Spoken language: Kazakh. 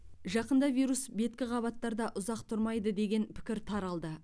жақында вирус беткі қабаттарда ұзақ тұрмайды деген пікір таралды